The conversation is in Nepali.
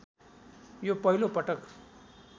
यो पहिलो पटक